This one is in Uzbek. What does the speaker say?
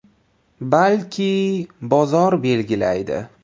Balki, bozor belgilaydi.